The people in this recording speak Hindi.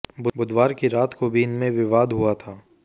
बुधवार की रात को भी इनमें विवाद हुआ था